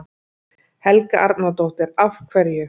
Helga Arnardóttir: Af hverju?